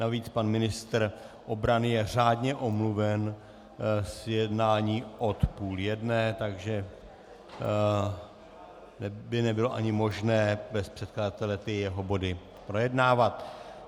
Navíc pan ministr obrany je řádně omluven z jednání od půl jedné, takže by nebylo ani možné bez předkladatele ty jeho body projednávat.